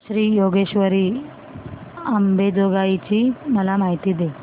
श्री योगेश्वरी अंबेजोगाई ची मला माहिती दे